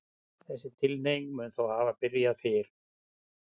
Þessi tilhneiging mun þó hafa byrjað fyrr.